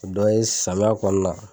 O dɔ ye samiya kɔni na.